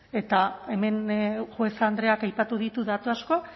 eta hemen juez andreak aipatu ditu datu asko